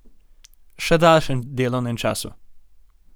Še daljšem delovnem času.